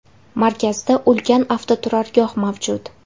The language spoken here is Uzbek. Markazda ulkan avtoturargoh mavjud.